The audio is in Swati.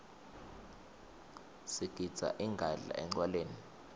sigidza ingadla encwaleni